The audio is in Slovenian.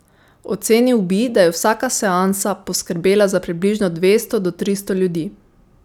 Ocenil bi, da je vsaka seansa poskrbela za približno dvesto do tristo ljudi.